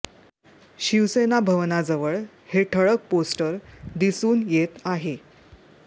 शिवसेना भवनाजवळ हे ठळक पोस्टर दिसून येत आहे